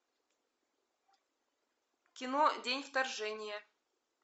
кино день вторжения